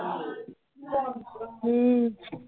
ਹਮ